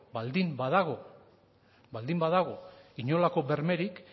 baldin badago inolako bermerik